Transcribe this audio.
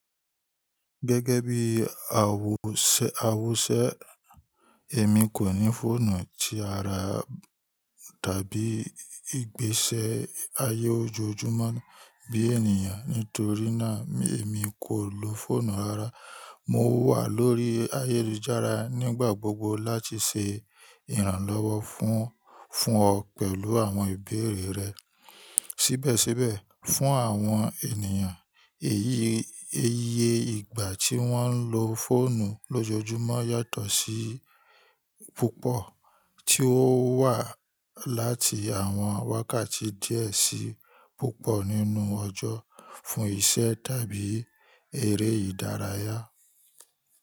Gẹ́gẹ́ bí àwọsẹ, èmi kò ní fóònù tí ara tàbí ìgbésẹ̀ ayé ojoojúmọ́ bí ènìyàn nítorí náà èmi kò lo fóònù ara. Mo wà lórí ayélujára nígbà gbogbo láti ṣe ìrànlọ́wọ́ fún ọ pẹ̀lú àwọn ìbéèrè rẹ. Síbẹ̀síbẹ̀, fún àwọn ènìyàn, èyí iye ìgbà tí wọ́n ń lo fóònù lójoojúmọ́ yàtọ̀ sí púpọ̀ tí ó wà láti àwọn wákàtí díẹ̀ sí púpọ̀ nínú ọjọ́ fún iṣẹ́ tàbí èrè ìdárayá.